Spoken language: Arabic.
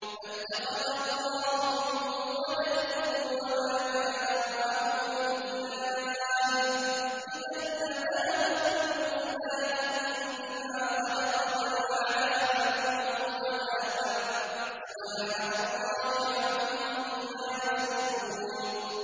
مَا اتَّخَذَ اللَّهُ مِن وَلَدٍ وَمَا كَانَ مَعَهُ مِنْ إِلَٰهٍ ۚ إِذًا لَّذَهَبَ كُلُّ إِلَٰهٍ بِمَا خَلَقَ وَلَعَلَا بَعْضُهُمْ عَلَىٰ بَعْضٍ ۚ سُبْحَانَ اللَّهِ عَمَّا يَصِفُونَ